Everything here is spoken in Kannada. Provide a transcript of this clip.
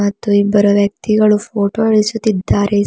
ಮತ್ತು ಇಬ್ಬರು ವ್ಯಕ್ತಿಗಳು ಫೋಟೋ ಇಳಿಸುತ್ತಿದ್ದಾರೆ.